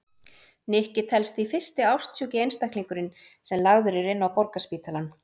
Nikki telst því fyrsti ástsjúki einstaklingurinn sem lagður er inn á Borgarspítalann.